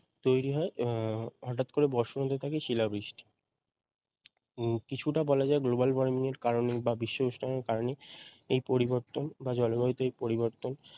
তৈরি হয় হটাৎ করে বর্ষণ হতে থাকে শিলাবৃষ্টি কিছুটা বলা যায় global warming এর কারণে বিশ্ব উষ্ণায়ন এর কারণে এই পরিবর্তন বা জলবায়ুতে এই পরিবর্তন